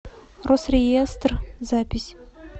росреестр запись